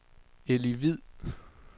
Elly Hvid